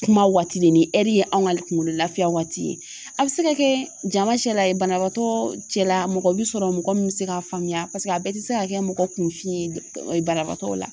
Kuma waati de ni ye anw ka kungolo laafiya waati ye a bi se ka kɛ jama cɛla ye banabagatɔ cɛla mɔgɔ bi sɔrɔ mɔgɔ min bi se k'a faamuya paseke a bɛɛ ti se ka kɛ mɔgɔ kunfin ye banabagatɔw la.